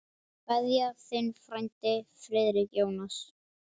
Kveðja, þinn frændi Friðrik Jónas.